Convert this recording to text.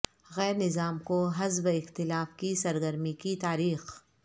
غیر نظام کو حزب اختلاف کی سرگرمی کی تاریخ